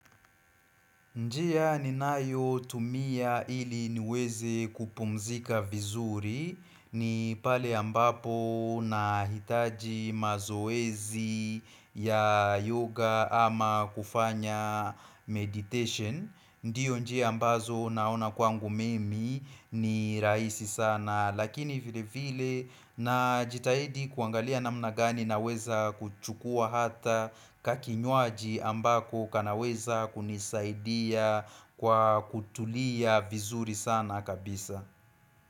Njia ninayo tumia ili niweze kupumzika vizuri ni pale ambapo na hitaji mazoezi ya yoga ama kufanya meditation. Ndiyo nje ambazo naona kwangu mimi ni raisi sana Lakini vile vile najitahidi kuangalia namnagani naweza kuchukua hata kakinwaji ambako kanaweza kunisaidia kwa kutulia vizuri sana kabisa.